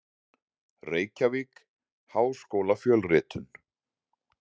Reykjavík: Háskólafjölritun.